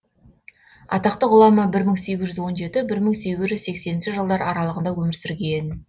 атақты ғұлама бір мың сегіз жүз он екі бір мың сегіз жүз сексенінші жылдар аралығында өмір сүрген